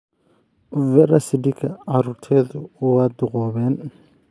Vera Sidika carruurteedu waa duqoobeen